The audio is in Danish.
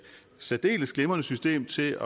særdeles glimrende system til